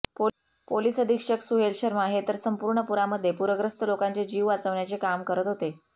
police अधीक्षक सुहेल शर्मा हे तर सम्पर्ण पुरामध्ये पूरग्रस्त लोकांचे जीव वाचवण्याचे काम करत होते